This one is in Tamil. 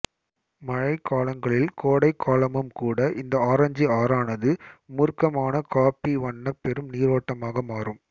மழை காலங்களில்கோடை காலமும் கூட இந்த ஆரஞ்சு ஆறானது மூர்க்கமான காபி வண்ண பெரும் நீரோட்டமாக மாறும்